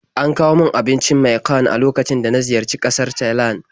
An kawo min abincin miang kham a lokacin da na ziyarci ƙasar Thailand.